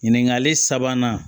Ɲininkali sabanan